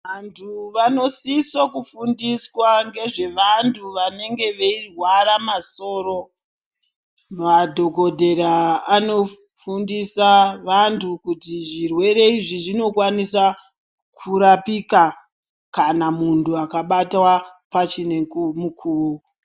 Antu vanosiso kufundiswa ngezvevantu vanenge veirwara masoro. Madhokodhera anofundisa vantu kuti zvirwere izvi zvinokwanisa kurapika ,kana muntu akabatwa pachine mukuwo.